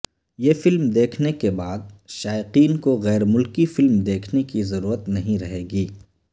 یہ فلم دیکھنے کے بعد شائقین کوغیرملکی فلم دیکھنے کی ضرورت نہیں رہے گی